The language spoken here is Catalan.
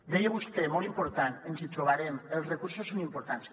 deia vostè molt important ens hi trobarem els recursos són importants